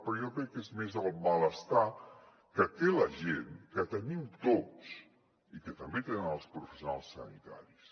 però jo crec que és més el malestar que té la gent que tenim tots i que també tenen els professionals sanitaris